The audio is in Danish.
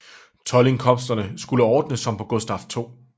Toldindkomsterne skulle ordnes som på Gustaf 2